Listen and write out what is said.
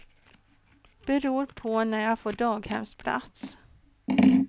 Beror på när jag får daghemsplats.